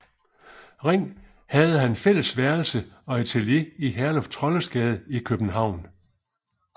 Ring havde han fælles værelse og atelier i Herluf Trolles Gade i København